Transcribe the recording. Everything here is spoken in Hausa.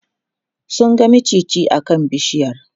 sun ga maciji a kan bishiyar